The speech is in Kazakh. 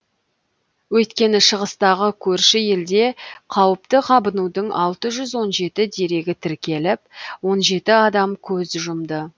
өйткені шығыстағы көрші елде қауіпті қабынудың алты жүз он жеті дерегі тіркеліп он жеті адам көз жұмды